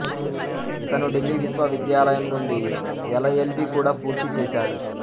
ఇతను ఢిల్లీ విశ్వవిద్యాలయం నుండి ఎలఎల్బీ కూడా పూర్తి చేసాడు